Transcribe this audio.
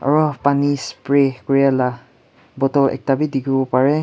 aro pani spray kurelah bottle ekta bi dikhiwo pareh.